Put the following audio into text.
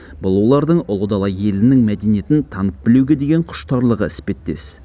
бұл олардың ұлы дала елінің мәдениетін танып білуге деген құштарлығы іспеттес